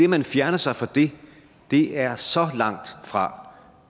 man fjerner sig fra det er så langt fra